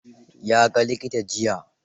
Ya ga likita jiya.